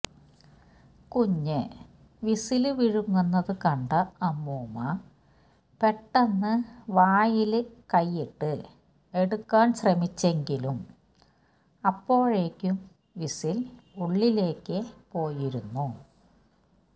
കുഞ്ഞ് വിസില് വിഴുങ്ങുന്നത് കണ്ട അമ്മൂമ്മ പെട്ടെന്ന് വായില് കൈയ്യിട്ട് എടുക്കാന് ശ്രമിച്ചെങ്കിലും അപ്പോഴേക്കും വിസില് ഉള്ളിലേക്ക് പോയിരുന്നു